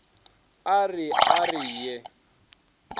a re a re ye